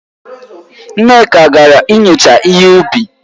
Nneka gara inyocha ihe ubi.